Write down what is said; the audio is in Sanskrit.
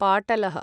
पाटलः